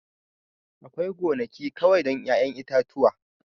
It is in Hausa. Akwai gonaki kawai don 'ya'yan itatuwa